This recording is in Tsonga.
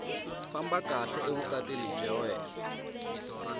famba kahle evukatini bya wena